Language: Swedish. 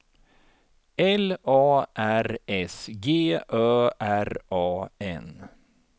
L A R S G Ö R A N